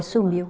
Sumiu.